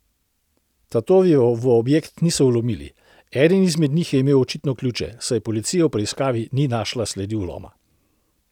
Tatovi v objekt niso vlomili, eden izmed njih je imel očitno ključe, saj policija v preiskavi ni našla sledi vloma.